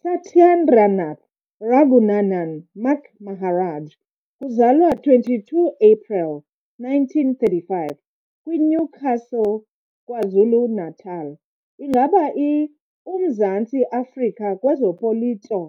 Sathyandranath Ragunanan "Mac" Maharaj, kuzalwa 22 apreli 1935 kwi - Newcastle, KwaZulu-Natal, ingaba i - Umzantsi Afrika kwezopolito